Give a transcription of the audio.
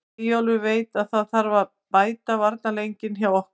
Eyjólfur veit að það þarf að bæta varnarleikinn hjá okkur.